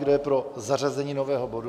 Kdo je pro zařazení nového bodu?